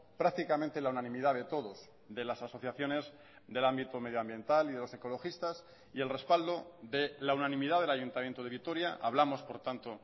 prácticamente la unanimidad de todos de las asociaciones del ámbito medioambiental y de los ecologistas y el respaldo de la unanimidad del ayuntamiento de vitoria hablamos por tanto